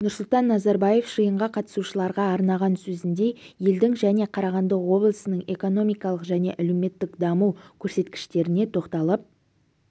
нұрсұлтан назарбаев жиынға қатысушыларға арнаған сөзінде елдің және қарағанды облысының экономикалық және әлеуметтік даму көрсеткіштеріне тоқталып